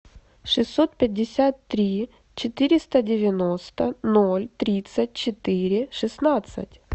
шестьсот пятьдесят три четыреста девяносто ноль тридцать четыре шестнадцать